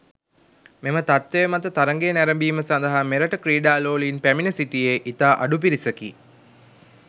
මෙම තත්ත්වය මත තරගය නැරඹීම සදහා මෙරට ක්‍රීඩා ලෝලීන් පැමිණ සිටියේ ඉතා අඩු පිරිසකි.